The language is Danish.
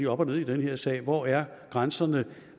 op og ned i den her sag hvor er grænserne